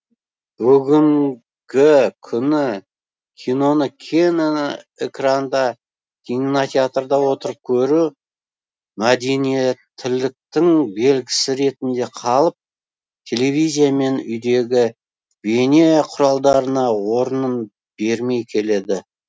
бүгінгі күні киноны кең экранда кинотеатрда отырып көру мәдениеттіліктің белгісі ретінде қалып телевизия мен үйдегі бейне құралдарына орнын бермей келеді